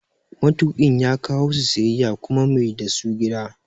Matuƙin ya kawo su siyayya ya kuma maida su gida